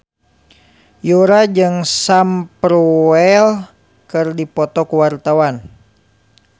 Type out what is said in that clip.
Yura jeung Sam Spruell keur dipoto ku wartawan